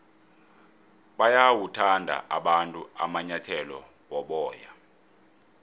bayawathanda abantu amanyathele woboya